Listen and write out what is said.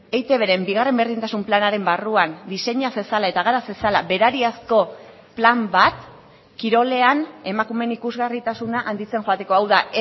eitbren bigarren berdintasun planaren barruan diseina zezala eta gara zezala berariazko plan bat kirolean emakumeen ikusgarritasuna handitzen joateko hau da